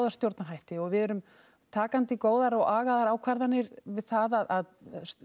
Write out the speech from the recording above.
stjórnarhætti og við erum takandi góðar og agaðar ákvarðanir um það að